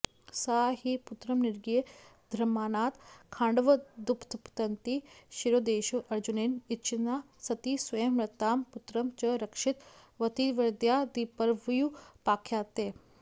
सा हि पुत्रं निगीर्य दह्यमानात् खाण़्वादुत्पतन्ती शिरोदेशे अर्जुनेन च्छिन्ना सती स्वयं मृतां पुत्रं च रक्षितवतीत्यादिपर्वण्युपाख्यायते